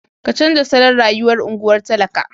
Ka canza salon rayuwar unguwar talaka.